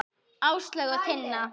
Áslaug og Tinna.